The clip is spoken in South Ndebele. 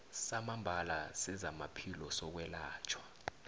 samambala sezamaphilo sokwelatjhwa